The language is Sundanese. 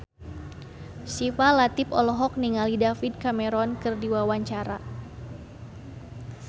Syifa Latief olohok ningali David Cameron keur diwawancara